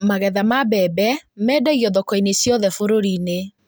Magetha ma mbembe mendagio thoko-inĩ ciothe bũrũri-inĩ